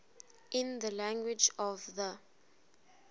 in the language of the